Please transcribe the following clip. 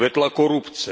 Kvetla korupce.